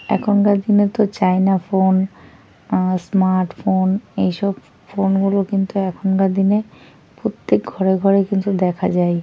এখনকার দিনে তো চাইনা ফোন অ্যাঁ স্মার্ট ফোন এইসব ফোনগুলো কিন্তু এখনকার দিনে প্রত্যেক ঘরে ঘরে কিন্তু দেখা যায়।